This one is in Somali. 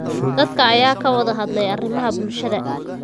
Dadka ayaa ka wada hadlay arrimaha bulshada.